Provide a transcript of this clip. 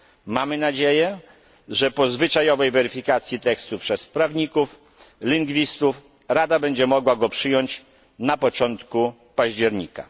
Mamy nadzieję, że po zwyczajowej weryfikacji tekstu przez prawników, lingwistów Rada będzie mogła go przyjąć na początku października.